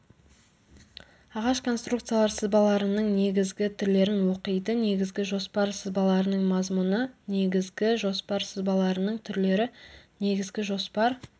ағаш конструкциялар сызбаларының негізгі түрлерін оқиды негізгі жоспар сызбаларының мазмұны негізгі жоспар сызбаларының түрлері негізгі жоспар